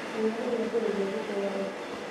Riũa nĩrĩambĩrĩria gũthũa rĩu